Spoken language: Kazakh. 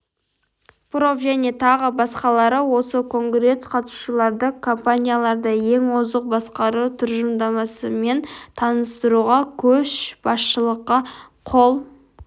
проф және тағы басқалары осы конгресс қатысушыларды компанияларды ең озық басқару тұжырымдамасымен таныстыруға көшбасшылыққа қол